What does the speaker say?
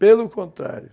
Pelo contrário,